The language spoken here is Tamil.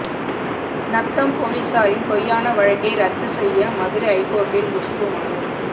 நத்தம் போலீசாரின் பொய்யான வழக்கை ரத்து செய்ய மதுரை ஐகோர்ட்டில் குஷ்பு மனு